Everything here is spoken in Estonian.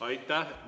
Aitäh!